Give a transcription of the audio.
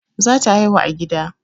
Za ta haihu a gida